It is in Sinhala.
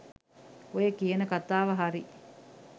ඔය කියන කතාව හරි.